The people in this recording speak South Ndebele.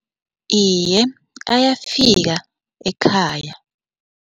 Iye, ayafika ekhaya.